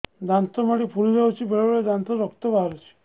ଦାନ୍ତ ମାଢ଼ି ଫୁଲି ଯାଉଛି ବେଳେବେଳେ ଦାନ୍ତରୁ ରକ୍ତ ବାହାରୁଛି